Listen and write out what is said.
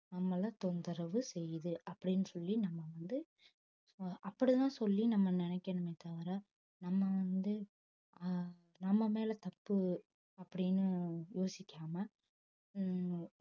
நம்மள தொந்தரவு செய்யுது அப்படின்னு சொல்லி நம்ம வந்து அப்படிதான் சொல்லி நம்ம நினைக்கணுமே தவிர நம்ம வந்து ஆஹ் நம்ம மேல தப்பு அப்படின்னு யோசிக்காம உம்